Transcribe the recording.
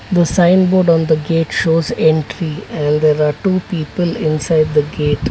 The sign board on the gate shows entry and there are two people inside the gate.